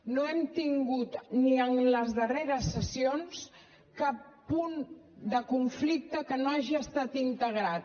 no hem tingut ni en les darreres sessions cap punt de conflicte que no hagi estat integrat